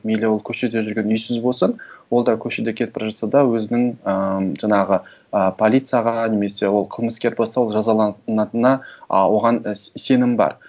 мейлі ол көшеде жүрген үйсіз болсын ол да көшеде кетіп бара жатса да өзінің ыыы жаңағы ы полицияға немесе ол қылмыскер болса ол жазаланатынына ы оған сенім бар